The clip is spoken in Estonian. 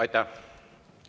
Aitäh!